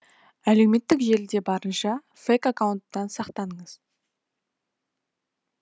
әлеуметтік желіде барынша фейк аккаунттан сақтаныңыз